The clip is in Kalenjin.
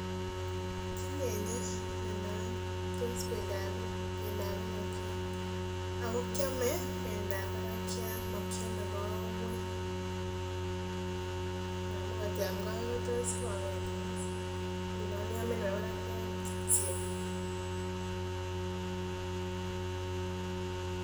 King'enye nonon tos bendap ngokiet ako kiome bendap barakiat mokiome kowek amun kot iam kowek kotos koketin ngunon iome nebo barakiat kityo